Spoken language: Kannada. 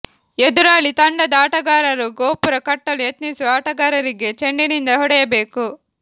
ಎದುರಾಳಿ ತಂಡದ ಆಟಗಾರರು ಗೋಪುರ ಕಟ್ಟಲು ಯತ್ನಿಸುವ ಆಟಗಾರರಿಗೆ ಚೆಂಡಿನಿಂದ ಹೊಡೆಯಬೇಕು